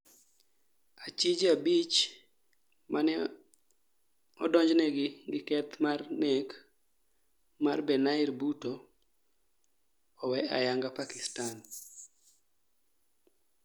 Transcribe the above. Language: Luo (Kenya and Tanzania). Achije abich mane odonj negi gi keth mar nek mar Benair Bhutto owe ayanga Pakistan